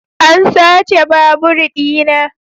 An sace babur dina.